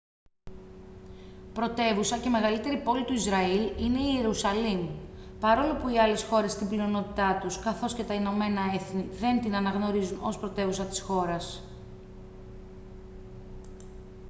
πρωτεύουσα και μεγαλύτερη πόλη του ισραήλ είναι η ιερουσαλήμ παρόλο που οι άλλες χώρες στην πλειονότητά τους καθώς και τα ηνωμένα έθνη δεν την αναγνωρίζουν ως πρωτεύουσα της χώρας